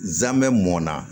Zamɛ mɔnna